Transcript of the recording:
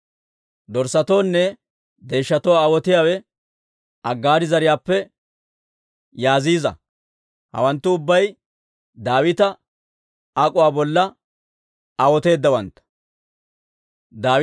Dorssatoonne deeshshatoo aawotiyaawe Aggaari zariyaappe Yaaziiza. Hawanttu ubbay Daawita ak'uwaa bolla aawoteedawantta.